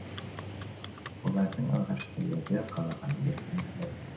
олардың алғашқы легі қалаға ертең келеді